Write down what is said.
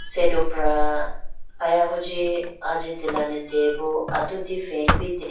Sedupra aya huji ajitelane deyayi bo atudi fan bi deyayi.